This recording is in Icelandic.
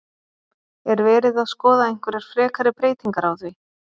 Er verið að skoða einhverjar frekari breytingar á því?